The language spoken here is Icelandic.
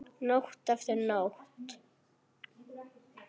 Nótt eftir nótt.